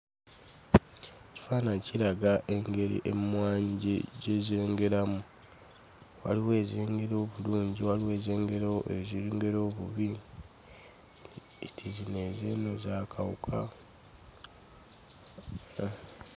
Ekifaananyi kiraga engeri emmwanyi gye gye zengeramu. Waliwo ezengera obulungi, waliwo ezengera ezengera obubi, nti zino ez'eno za kawuka.